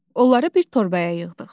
Onları bir torbaya yığdıq.